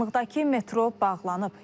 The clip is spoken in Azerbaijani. Yaxınlıqdakı metro bağlanıb.